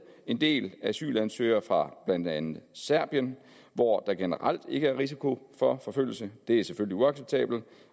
en del asylansøgere fra blandt andet serbien hvor der generelt ikke er risiko for forfølgelse det er selvfølgelig uacceptabelt